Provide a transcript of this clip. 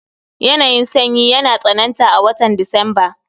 Yanayin sanyi yana tsananta a watan Disamba